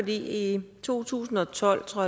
i to tusind og tolv tror